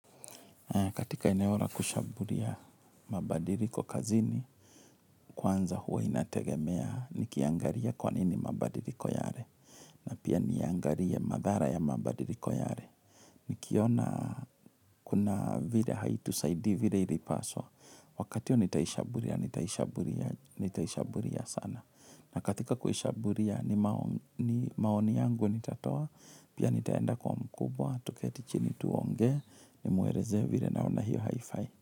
Katika eneo la kushambulia mabadiliko kazini, kwanza huwa inategemea nikiangalia kwa nini mabadiliko yale. Pia niangalie madhara ya mabadiliko yale. Nikiona kuna vile haitusaidii vile ilipaswa. Wakati nitaishabulia, nitaishabulia, nitaishabulia sana. Na katika kuishabulia ni maoni yangu nitatoa, pia nitaenda kwa mkubwa, tuketi chini tuongee, nimuelezee vile naona hiyo haifai.